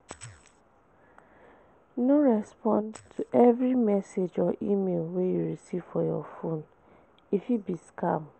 No respond to every message or email wey you recieve for your phone e fit be scam